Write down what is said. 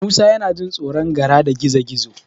Musa yana jin tsoron Gara da Gizo-gizo.